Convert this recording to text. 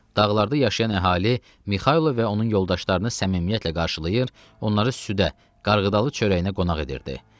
Dağlarda yaşayan əhali Mixailo və onun yoldaşlarını səmimiyyətlə qarşılayır, onları südə, qarğıdalı çörəyinə qonaq edirdi.